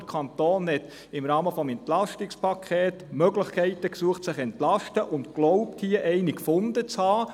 Der Kanton hat im Rahmen des EP nach Möglichkeiten gesucht, sich zu entlasten, und glaubt, hier eine gefunden zu haben.